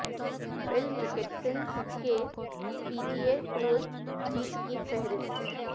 فل Mickelson کے P G A tour جیت کی فہرست